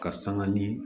Karisa ka ni